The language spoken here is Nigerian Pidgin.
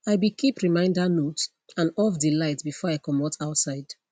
i be keep reminder note and off de light before i comot outside